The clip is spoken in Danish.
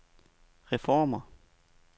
reformer